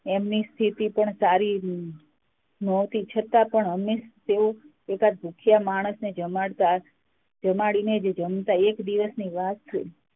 એમની સારી નહોતી છતાં પણ હંમેશા તેઓ એકાદ ભૂખ્યા માણસ ને જમાડીને જ જમતા એક દિવસની વાત છે